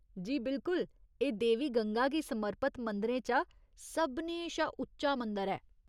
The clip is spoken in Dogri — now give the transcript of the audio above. जी, बिल्कुल। एह् देवी गंगा गी समर्पित मंदरें चा सभनें शा उच्चा मंदर ऐ।